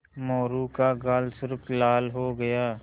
मोरू का गाल सुर्ख लाल हो गया